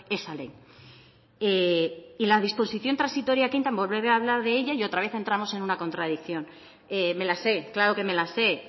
esa ley y la disposición transitoria que entra volveré a hablar de ella y otra vez entramos en una contradicción me la sé claro que me la sé